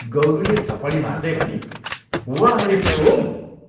गौरीले थपडी मार्दै भनी, "वाह रे प्रोम!